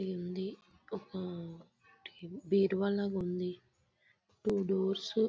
ఒకటి ఉంది. ఒక బీరువా లాగా ఉంది. Two doors--